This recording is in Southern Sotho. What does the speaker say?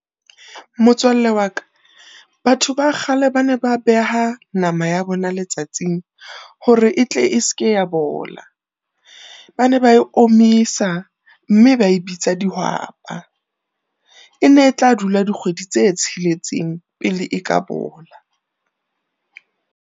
Motswalle wa ka batho ba kgale ba ne ba beha nama ya bona letsatsing hore etle e se ke ya bola. Ba ne ba e omisa mme ba e bitsa dihwapa, ene etla dula dikgwedi tse tsheletseng pele e ka bola.